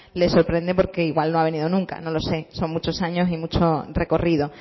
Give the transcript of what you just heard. les sorprende porque igual no ha venido nunca no lo sé son muchos años y mucho recorrido